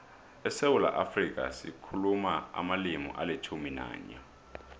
esewula afrika sikhuluma amalimi alitjhumi nanye